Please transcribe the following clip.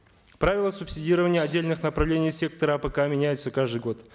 правила субсидирования отдельных направлений сектора апк меняются каждый год